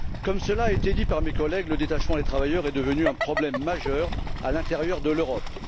Comme cela a été dit par mes collègues, le détachement des travailleurs est devenu un problème majeur à l'intérieur de l'Europe.